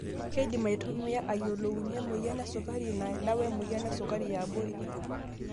Keidim aitumiya aayiolounye emoyian esukari naida wemoyian esukari yaabori.